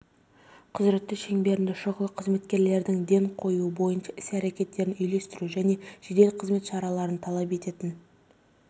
құзыреті шеңберінде шұғыл қызметтердің ден қоюы бойынша іс-әрекеттерін үйлестіру және жедел қызмет шараларын талап ететін